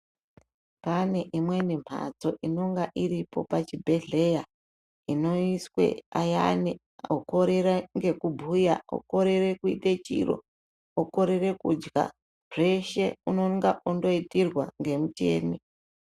Pane imweni mbatso inenge iripo pachibhedhlera inoiswe ayani okorera ngekubhuya okorere kuite chiro okorere kudya zveshe unonga ondoitirwa ngemuchini.